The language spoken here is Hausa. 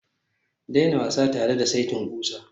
daina wasa tare da saitin ƙusa